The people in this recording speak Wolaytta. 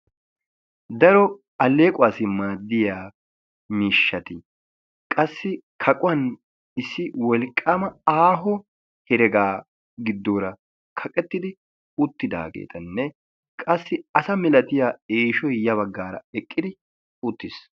daro allequwassi maaddiya miishshati qassi kaquwan issi wolqqaama aaho heregaa giddoora kaqettidi uttidaageetanne qassi asa milatiya eeshoy ya baggaara eqqidi uttis.